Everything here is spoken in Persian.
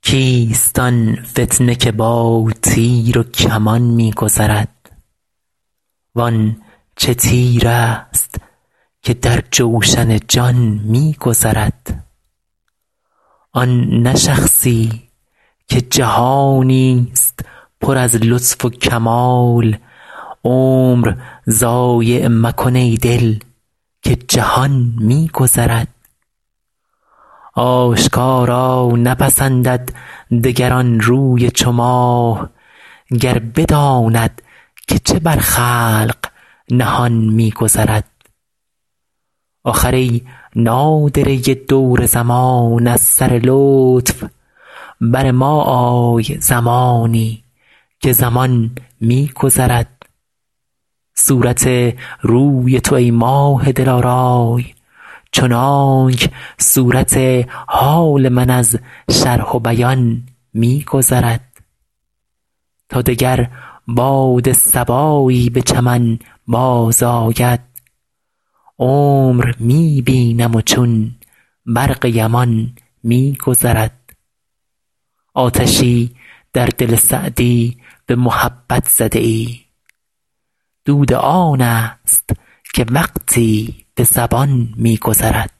کیست آن فتنه که با تیر و کمان می گذرد وان چه تیرست که در جوشن جان می گذرد آن نه شخصی که جهانی ست پر از لطف و کمال عمر ضایع مکن ای دل که جهان می گذرد آشکارا نپسندد دگر آن روی چو ماه گر بداند که چه بر خلق نهان می گذرد آخر ای نادره دور زمان از سر لطف بر ما آی زمانی که زمان می گذرد صورت روی تو ای ماه دلارای چنانک صورت حال من از شرح و بیان می گذرد تا دگر باد صبایی به چمن بازآید عمر می بینم و چون برق یمان می گذرد آتشی در دل سعدی به محبت زده ای دود آن ست که وقتی به زبان می گذرد